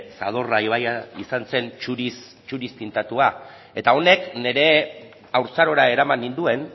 zadorra ibarra zuuriz tintatua eta honek nire haurtzarora eraman ninduen